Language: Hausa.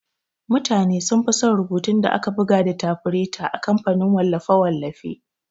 Mutane sunfi son rubutun da aka buga da tafireta a kamfanin wallafe-wallafe.